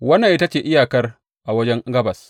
Wannan ita ce iyakar a wajen gabas.